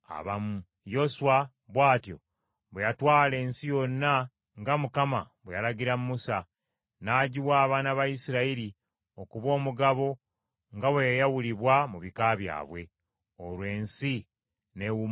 Yoswa bw’atyo bwe yatwala ensi yonna nga Mukama bwe yalagira Musa, n’agiwa abaana ba Isirayiri okuba omugabo nga bwe yayawulibwa mu bika byabwe. Olwo ensi n’ewummula entalo.